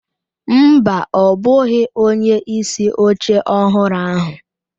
Mba, ọ bụghị onyeisi oche ọhụrụ ahụ.